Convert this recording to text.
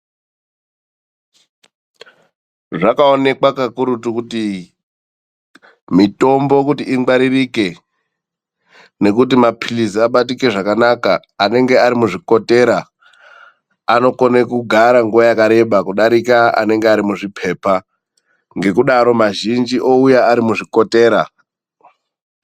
Zvakaonekwa kakurutu kuti mitombo kuti ingwaririke, nokuti maphilizi abatike zvakanaka, anenge ari muzvikotera anokone kugara nguwa yakareba kudarika anenge arimuzvipepa. Ngekudaro mazhinji ouya ari muzvikotera.